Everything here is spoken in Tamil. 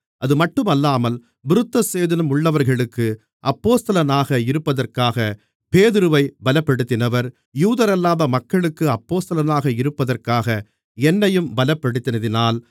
அதுமட்டுமல்லாமல் விருத்தசேதனம் உள்ளவர்களுக்கு அப்போஸ்தலனாக இருப்பதற்காக பேதுருவைப் பலப்படுத்தினவர் யூதரல்லாத மக்களுக்கு அப்போஸ்தலனாக இருப்பதற்காக என்னையும் பலப்படுத்தினதினால்